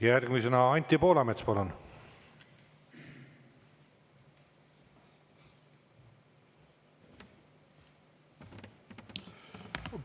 Järgmisena Anti Poolamets, palun!